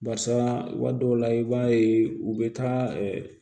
Barisa waati dɔw la i b'a ye u bɛ taa